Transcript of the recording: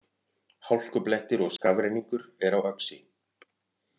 Hálkublettir og skafrenningur er á Öxi